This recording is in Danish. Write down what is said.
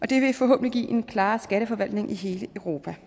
det vil forhåbentlig give en klarere skatteforvaltning i hele europa